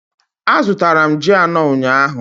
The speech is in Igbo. Azụtara m ji anọ ụnyahụ